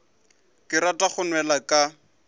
ke rata go nwela ka